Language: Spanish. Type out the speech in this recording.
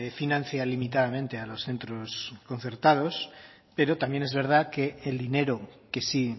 financia limitadamente a los centros concertados pero también es verdad que el dinero que sí